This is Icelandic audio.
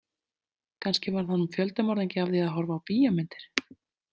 Kannski varð hann fjöldamorðingi af því að horfa á bíómyndir.